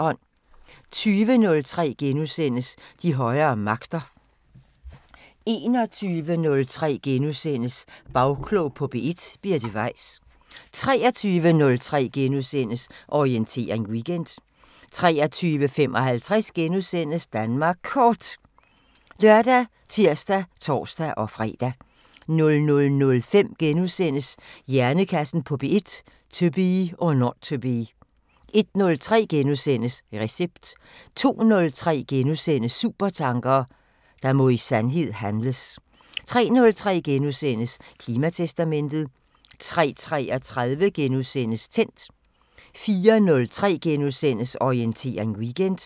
20:03: De højere magter * 21:03: Bagklog på P1: Birte Weiss * 23:03: Orientering Weekend * 23:55: Danmark Kort *( lør, tir, tor-fre) 00:05: Hjernekassen på P1: To be or not to be * 01:03: Recept * 02:03: Supertanker: Der må i sandhed handles * 03:03: Klimatestamentet * 03:33: Tændt * 04:03: Orientering Weekend *